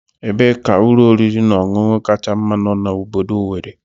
Ebee ka ụlọ oriri na ọṅụṅụ kacha mma no na obodo Owere?